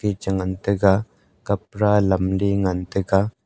echan ngan taiga kapara lamley ngan taiga.